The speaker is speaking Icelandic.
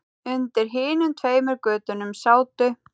Undir hinum tveimur götunum sátu